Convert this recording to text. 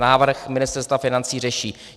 Návrh Ministerstva financí řeší.